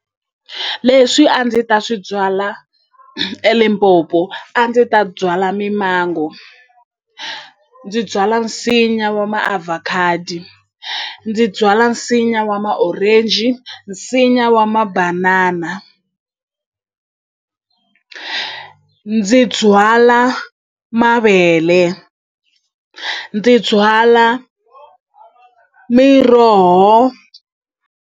Leswi a ndzi ta swi byala eLimpopo a ndzi ta byala mi-mango ndzi byala nsinya wa ma-avocado, ndzi byala nsinya wa ma-orange ndzi nsinya wa mabanana ndzi byala mavele ndzi byala miroho.